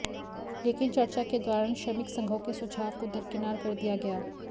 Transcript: लेकिन चर्चा के दौरान श्रमिक संघों के सुझाव को दरकिनार कर दिया गया